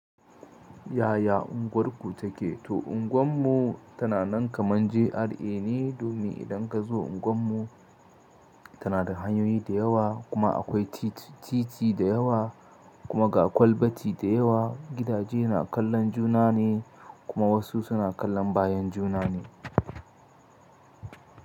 Yaya unguwarku take? To unguwar mu tana nan kaman GRA ne, domin idan ka zo unguwar mu tana da hanyoyi da yawa kuma akwai titi, titi da yawa kuma ga kwalbati da yawa. Gidaje na kallon juna ne kuma wasu suna kallon bayan juna ne.